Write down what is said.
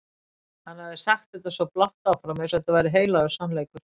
Hann hafði sagt þetta svo blátt áfram eins og þetta væri heilagur sannleikur.